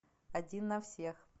один на всех